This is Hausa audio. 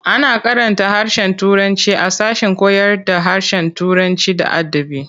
A na karanta harshen turanci a sashen koyarda harshen Turanci da adabi.